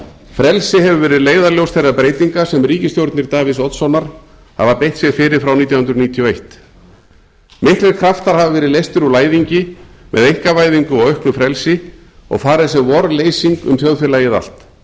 frelsi hefur verið leiðarljós þeirra breytinga sem ríkisstjórnir davíðs oddssonar hafa beitt sér fyrir frá nítján hundruð níutíu og eitt miður kraftar hafa verið leystir úr læðingi með einkavæðingu og auknu frelsi og farið sem vorleysing um þjóðfélagið allt